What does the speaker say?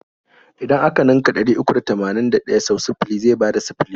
Idan a ka ninka ɗari uku da tamanin da ɗaya sau sifili zai bada sifili.